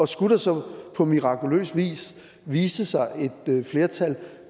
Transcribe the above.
skulle der så på mirakuløs vis vise sig et flertal